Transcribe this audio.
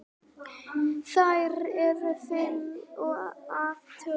Þær eru fimm að tölu.